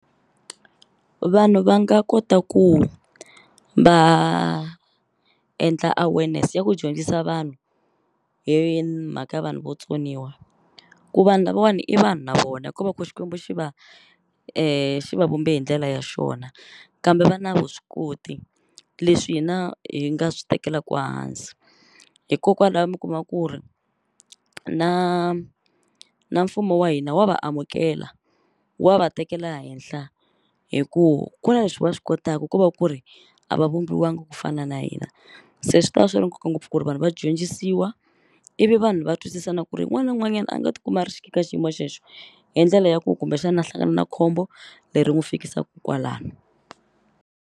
Vanhu va nga kota ku va endla awareness ya ku dyondzisa vanhu hi mhaka ya vanhu votsoniwa ku vanhu lavawani i vanhu na vona ko va ku xikwembu xi va xi vavumbe hi ndlela ya xona kambe va na vuswikoti leswi hina hi nga swi tekelaku hansi hikokwala mi kuma ku ri na na mfumo wa hina wa va amukela wa va tekela henhla hi ku ku na leswi va swi kotaku ko va ku ri a va vumbiwangi ku fana na hina se swi ta va swi ri nkoka ngopfu ku ri vanhu va dyondzisiwa ivi vanhu va twisisa na ku ri n'wana n'wanyani a nga ti kuma a ri ka xiyimo xexe hi ndlela ya ku kumbexana a hlangana na khombo leri n'wu fikisaku kwalani.